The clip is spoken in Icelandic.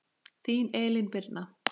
Þín Elín Birna.